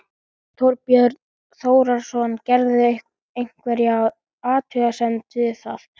Þorbjörn Þórðarson: Gerirðu einhverja athugasemd við það?